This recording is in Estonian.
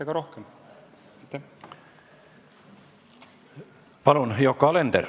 Palun, Yoko Alender!